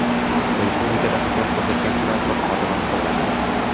Respublikada xizmat ko‘rsatgan transport xodimi hisoblanadi.